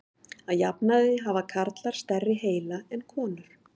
Að jafnaði hafa karlar stærri heila en konur.